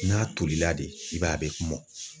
N'a tolila de i b'a ye a be mɔn